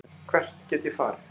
Hvert get ég farið